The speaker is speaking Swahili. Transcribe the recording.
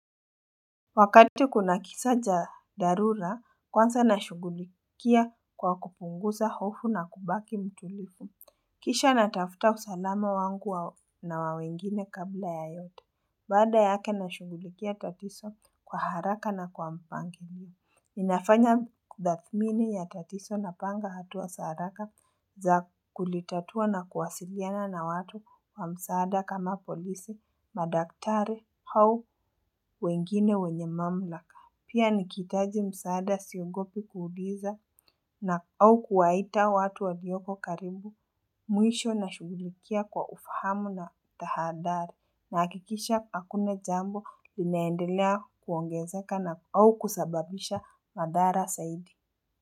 Wakati kuna kisa cha dharura, kwanza nashughulikia kwa kupunguza hofu na kubaki mtulivu. Kisha natafuta usalama wangu na wa wengine kabla ya yote. Baada yake nashughulikia tatizo kwa haraka na kwa mpanglio. Ninafanya tathmini ya tatizo napanga hatua za haraka za kulitatua na kuwasiliana na watu wa msaada kama polisi, madaktari au wengine wenye mamlaka. Pia nikihitaji msaada siogopi kuuliza na au kuwaita watu waliyoko karibu mwisho na shughulikia kwa ufahamu na tahadhari. Nahakikisha hakuna jambo linaendelea kuongezeka na au kusababisha madhara zaidi.